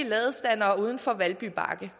ladestandere uden for valby bakke